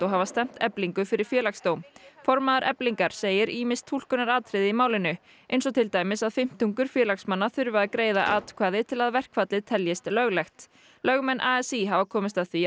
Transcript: hafa stefnt Eflingu fyrir Félagsdóm formaður Eflingar segir ýmis túlkunaratriði í málinu eins og til dæmis að fimmtungur félagsmanna þurfi að greiða atkvæði til að verkfallið teljist löglegt lögmenn a s í hafi komist að því